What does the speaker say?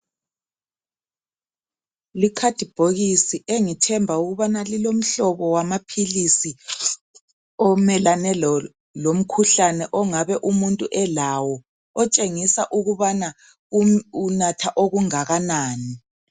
Ikhathibhokisi engithenba ukubana lilomhlobo wamaphilisi omelane lomkhuhlane ongabe umuntu elawo, okutshengisa ukubana unatha okungakanani.